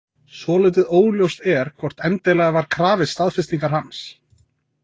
Svolítið óljóst er hvort endilega var krafist staðfestingar hans.